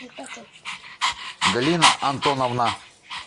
галина антоновна